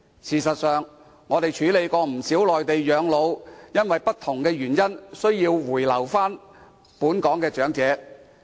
事實上，我們曾處理不少原本在內地養老，卻因不同原因而需回本港的長者。